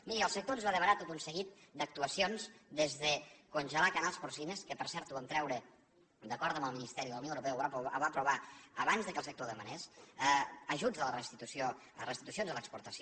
miri el sector ens va demanar tot un seguit d’actuacions des de congelar canals porcines que per cert ho vam treure d’acord amb el ministeri de la unió europea ho va aprovar abans que el sector ho demanés ajuts a les restitucions a l’exportació